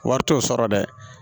Wari t'o sɔrɔ dɛ